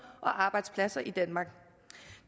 og arbejdspladser i danmark